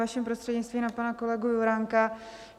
Vaším prostřednictvím na pana kolegu Juránka.